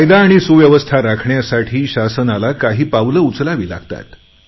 कायदा आणि सुव्यवस्था राखण्यासाठी शासनाला काही पावले उचलावी लागतात